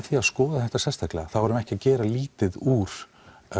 því að skoða þetta sérstaklega þá erum við ekki að gera lítið úr